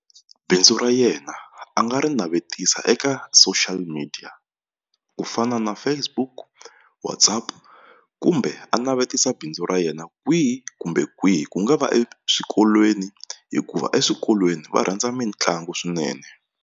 Bindzu ra yena a nga ri navetisa eka social media ku fana na Facebook, WhatsApp kumbe a navetisa bindzu ra yena kwihi kumbe kwihi ku nga va eswikolweni hikuva eswikolweni va rhandza mitlangu swinene.